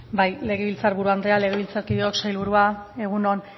bai legebiltzar buru anderea legebiltzarkideok sailburua egun on